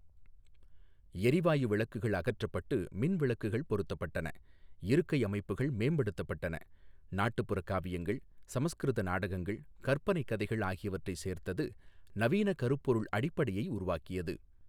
எரிவாயு விளக்குகள் அகற்றப்பட்டு மின் விளக்குகள் பொருத்தப்பட்டன, இருக்கை அமைப்புகள் மேம்படுத்தப்பட்டன, நாட்டுப்புறக் காவியங்கள், சமஸ்கிருத நாடகங்கள், கற்பனைக் கதைகள் ஆகியவற்றைச் சேர்த்தது, நவீன கருப்பொருள் அடிப்படையை உருவாக்கியது.